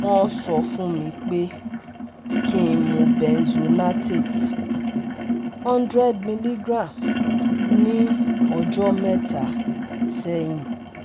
Wọ́n sọ fún mi pé kí n mú benzonatate hundred milligram ní ọjọ́ mẹ́ta sẹ́yìn